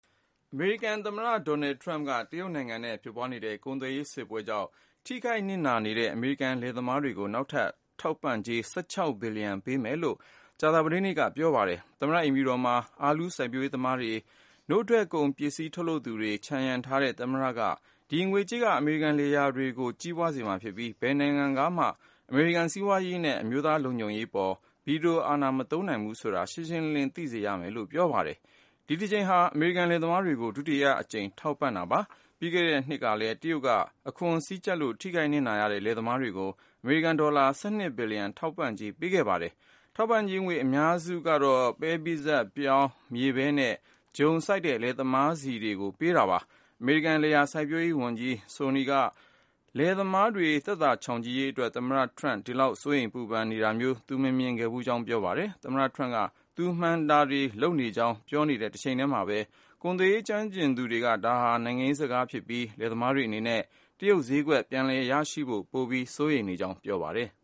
အမေရိကန် သမ္မတ Doanld Trump က တရုတ်နိုင်ငံနဲ့ ဖြစ်ပွားနေတဲ့ ကုန်သွယ်ရေး စစ်ပွဲကြောင့် ထိခိုက် နစ်နာနေတဲ့ အမေရိကန် လယ်သမားတွေကို နောက်ထပ် ထောက်ပံ့ကြေး ၁၆ ဘီလီယံ ပေးမယ်လို့ ကြာသပတေးနေ့က ပြောပါတယ်။ သမ္မတ အိမ်ဖြူတော်မှာ အာလူးစိုက်ပျိုးရေးသမား တွေ၊ နို့ထွက်ပစ္စည်း ထုတ်လုပ်သူတွေ ခြံရံထားတဲ့ သမ္မတက ဒီ ငွေကြေးက အမေရိကန် လယ်ယာတွေကို ကြီးပွားစေမှာ ဖြစ်ပြီး ဘယ်နိုင်ငံကမှ အမေရိကန် စီးပွားရေးနဲ့ အမျိုးသား လုံခြုံရေးအပေါ် ဗီတိုအာဏာ မသုံးနိုင်ဘူးဆိုတာကို ရှင်းရှင်းလင်းလင်း သိစေမယ်လို့ ပြောပါတယ်။ ဒီ တစ်ကြိမ်ဟာ အမေရိကန် လယ်သမားတွေကို ဒုတိယအကြိမ် ထောက်ပံ့ကြေး ပေးတာပါ။ ပြီးခဲ့တဲ့ နှစ်ကလည်း တရုတ်က အခွန် စည်းကျပ်လို့ ထိခိုက်နစ်နာတဲ့ လယ်သမားတွေကို အမေရိကန် ဒေါ်လာ ၁၂ ဘီလီယံ ထောက်ပံ့ကြေး ပေးခဲ့ပါသေးတယ်။ ထောက်ပံ့ကြေးငွေ အများစုကတော့ ပဲပိစပ်၊ ပြောင်း၊ မြေပဲနဲ့ ဂျုံ စိုက် လယ်သမားတွေဆီ ရောက်မှာ ဖြစ်ပါတယ်။ အမေရိကန် လယ်ယာ စိုက်ပျိုးရေး ဝန်ကြီး Sonny Perdue က လယ်သမားတွေ သက်သာချောင်ချိရေးအတွက် သမ္မတ ထရမ့် ဒီလောက် စိုးရိမ် ပူပန်တာမျိုး သူ မမြင်ဘူးခဲ့ကြောင်း ပြောပါတယ်။ သမ္မတ ထရမ့်က သူ မှန်ကန်တာတွေ လုပ်နေကြောင်း ပြောနေတဲ့တစ်ချိန်တည်းမှာပဲ ကုန်သွယ်ရေး ကျွမ်းကျင်သူတွေက ဒါဟာ နိုင်ငံရေးကစားတာဖြစ်ပြီး လယ်သမားတွေအနေနဲ့ တရုတ်ဈေးကွက် ပြန်လည်ရရှိဖို့ကို ပိုပြီး စိုးရိမ်နေကြကြောင်း ပြောပါတယ်။